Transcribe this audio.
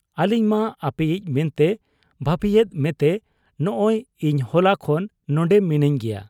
ᱟᱞᱤᱧ ᱢᱟ ᱟᱯᱮᱭᱤᱡ ᱢᱮᱱᱛᱮ ᱵᱷᱟᱹᱵᱤᱭᱮᱫ ᱢᱮᱛᱮ ᱱᱚᱸᱜᱻᱚᱭ ᱤᱧ ᱦᱚᱞᱟ ᱠᱷᱚᱱ ᱱᱚᱱᱰᱮ ᱢᱤᱱᱟᱹᱧ ᱜᱮᱭᱟ ᱾